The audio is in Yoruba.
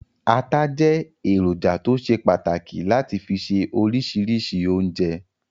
Ata jẹ́ èròjà tó ṣe pàtàkì láti fi se oríṣiríṣi oúnjẹ.